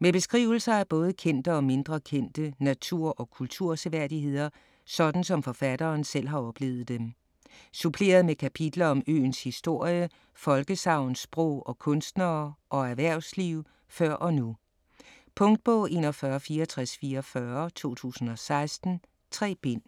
Med beskrivelser af både kendte og mindre kendte natur- og kulturseværdigheder, sådan som forfatteren selv har oplevet dem. Suppleret med kapitler om øens historie, folkesagn, sprog, og kunstnere og erhvervsliv før og nu. Punktbog 416444 2016. 3 bind.